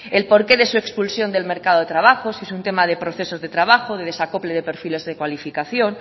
el porqué de su expulsión del mercado de trabajo si es un tema de proceso de trabajo de desacople de perfiles de cualificación